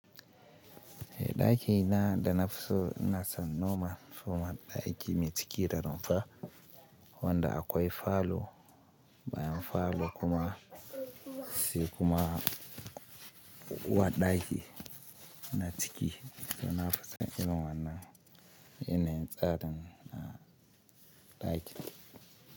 Eh, daki ina da nafi so ina san noma fuma daki mai cike da rumfa, wanda akwai falo bayan falo kuma se kuma uwar daki na ciki da to nafi son irin iwannan yanayin tsarin a daki.